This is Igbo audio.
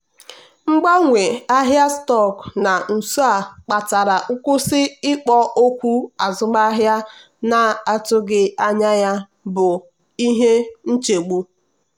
mgbanwe ahịa stọkụ na nso a kpatara nkwụsị ikpo okwu azụmahịa na-atụghị anya ya bụ ihe nchegbu.